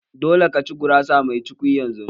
Dole ka ci gurasa mai cukwi yanzu!